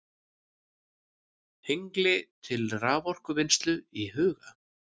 Hengli til raforkuvinnslu í huga.